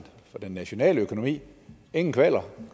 den nationale økonomi ingen kvaler